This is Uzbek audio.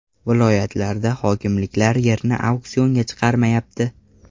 Viloyatlarda hokimliklar yerni auksionga chiqarmayapti.